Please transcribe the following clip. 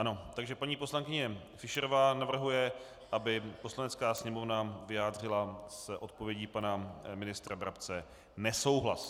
Ano, takže paní poslankyně Fischerová navrhuje, aby Poslanecká sněmovna vyjádřila s odpovědí pana ministra Brabce nesouhlas.